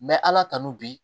ala tanu bi